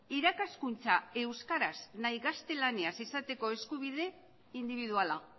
irakaskuntza euskaraz nahiz gaztelaniaz izateko eskubide indibiduala